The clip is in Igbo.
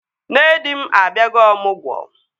Nne di m abịago ọmụgwọ